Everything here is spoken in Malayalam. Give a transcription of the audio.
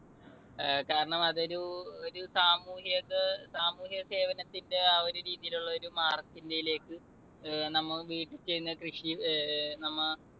കാരണം അത് ഒരു ഒരു സാമൂഹികത ~ സാമൂഹിക സേവനത്തിന്റെ ആ ഒരു രീതിയിലുള്ള ഒരു നമ്മ വീട്ടിൽ ചെയ്യുന്ന കൃഷി നമ്മ